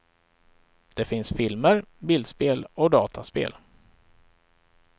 Det finns filmer, bildspel och dataspel.